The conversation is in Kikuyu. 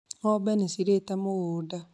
Ng'ombe nĩ cirĩĩte mũgũnda